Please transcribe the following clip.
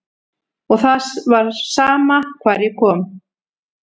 Og það var sama hvar ég kom.